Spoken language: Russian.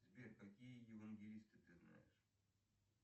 сбер какие евангелисты ты знаешь